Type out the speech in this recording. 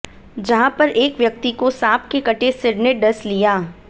जहां पर एक व्यक्ति को सांप के कटे सिर ने डस लिया